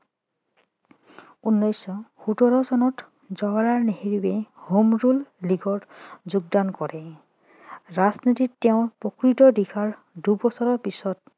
উনৈছশ সোতৰ চনত জৱাহৰলাল নেহেৰুৱে হোম ৰুল লীগত যোগদান কৰে ৰাজনীতিত তেওঁ প্ৰকৃত দিশত দুবছৰৰ পিছত